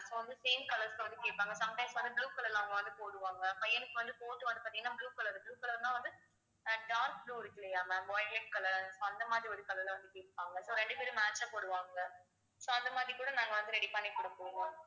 so வந்து same colors ல வந்து கேட்பாங்க sometimes வந்து blue color ல அவங்க வந்து போடுவாங்க பையனுக்கு வந்து coat வந்து பாத்தீங்கன்னா blue color blue color ன்னா வந்து அஹ் dark blue இருக்கில்லையா ma'am violet color அந்த மாதிரி ஒரு color ல வந்து கேப்பாங்க so ரெண்டு பேரும் match ஆ போடுவாங்க so அந்த மாதிரி கூட நாங்க வந்து ready பண்ணி குடுப்போம்